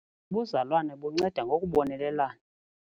Ubuzalwane bunceda ngokubonelelana.